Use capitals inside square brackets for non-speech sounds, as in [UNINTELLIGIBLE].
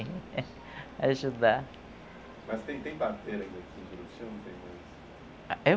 Ajudar. Mas tem, tem parteiras aqui do [UNINTELLIGIBLE]